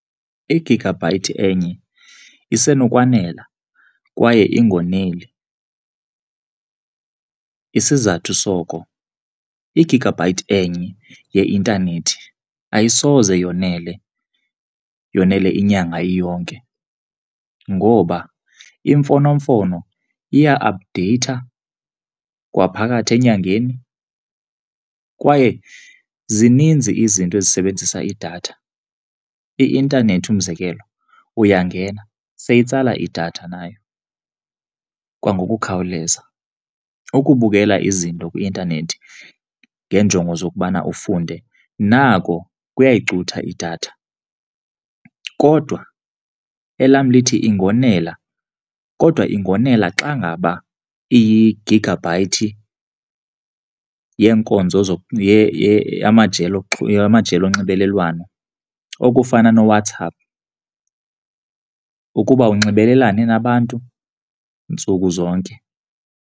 Igigabhayithi enye isenokwanela kwaye ingoneli. Isizathu soko, igigabhayithi enye yeintanethi ayisoze yonele, yonele inyanga iyonke ngoba imfonomfono iya apdeyitha kwaphakathi enyangeni kwaye zininzi izinto ezisebenzisa idatha. I-intanethi umzekelo uyangena, seyitsala idatha nayo kwangokukhawuleza. Ukubukela izinto kwi-intanethi ngeenjongo zokubana ufunde nako kuyayicutha idatha kodwa elam lithi ingonela kodwa ingonela xa ngaba iyigigabhayithi yeenkonzo amajelo amajelo onxibelelwano, okufana noWhatsApp ukuba unxibelelane nabantu ntsuku zonke.